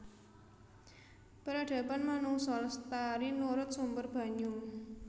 Peradaban manungsa lestari nurut sumber banyu